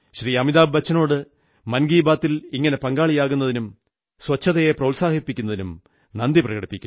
അമിതാഭ് ബച്ചനോട് മൻ കീ ബാത്തിൽ ഇങ്ങനെ പങ്കാളിയാകുന്നതിനും ശുചിത്വത്തെ പ്രോത്സാഹിപ്പിക്കുന്നതിനും നന്ദി പ്രകടിപ്പിക്കുന്നു